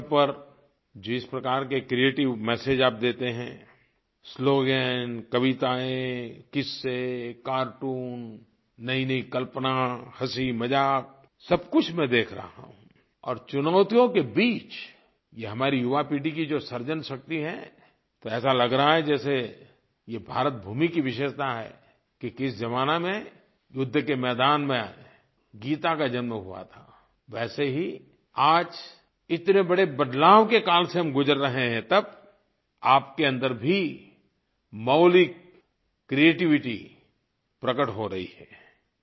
WhatsApp पर जिस प्रकार के क्रिएटिव मेसेज आप देते हैं स्लोगन कवितायेँ किस्से कार्टून नयीनयी कल्पना हंसीमज़ाक सब कुछ मैं देख रहा हूँ और चुनौतियों के बीच ये हमारी युवा पीढ़ी की जो सृजन शक्ति है तो ऐसा लग रहा है जैसे ये भारत भूमि की विशेषता है कि किसी ज़माने में युद्ध के मैदान में गीता का जन्म हुआ था वैसे ही आज इतने बड़े बदलाव के काल से हम गुजर रहे हैं तब आपके अन्दर भी मौलिक क्रिएटिविटी प्रकट हो रही है